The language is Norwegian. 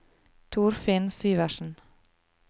Torfinn Syversen